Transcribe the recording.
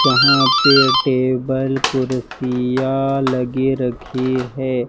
जहां पे टेबल कुर्सियां लगे रखी है।